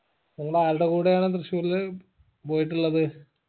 നിങ്ങളാരുടെ കൂടെയാണ് പോയിട്ടുള്ളത്